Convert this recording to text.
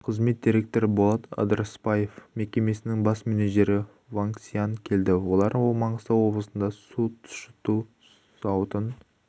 қызмет директоры болат ыдырысбаев мекемесінің бас менеджері вангксиан келді олар маңғыстау облысында су сұщыту зауытын